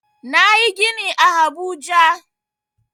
Nayi gini a habuja